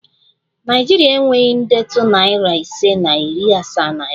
Naịjiria enweghị ndetu nari ise na iri asaa naira